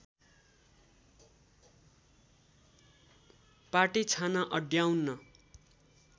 पाटे छाना अड्याउन